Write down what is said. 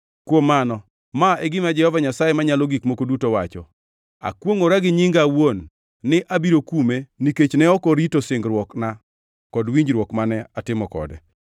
“ ‘Kuom mano, ma e gima Jehova Nyasaye Manyalo Gik Moko Duto wacho: Akwongʼora gi nyinga awuon ni abiro kume nikech ne ok orito singruokna kod winjruok mane atimo kode.